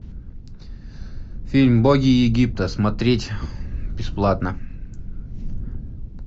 фильм боги египта смотреть бесплатно